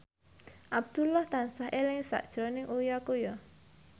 Abdullah tansah eling sakjroning Uya Kuya